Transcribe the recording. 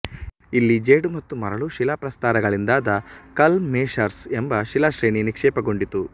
ಇಲ್ಲಿ ಜೇಡು ಮತ್ತು ಮರಳು ಶಿಲಾಪ್ರಸ್ತರಗಳಿಂದಾದ ಕಲ್ಮ್ ಮೆಷರ್ಸ್ ಎಂಬ ಶಿಲಾಶ್ರೇಣಿ ನಿಕ್ಷೇಪಗೊಂಡಿತು